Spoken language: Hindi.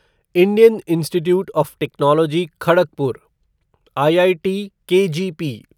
Indian Institute of Technology Kharagpur IITKGP